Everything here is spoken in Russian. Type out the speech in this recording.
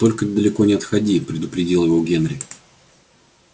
только не далеко не отходи предупредил его генри